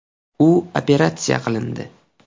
U operatsiya qilindi.